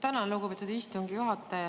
Tänan, lugupeetud istungi juhataja!